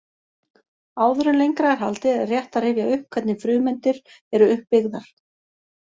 Áður en lengra er haldið er rétt að rifja upp hvernig frumeindir eru uppbyggðar.